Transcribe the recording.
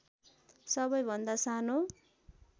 सबै भन्दा सानो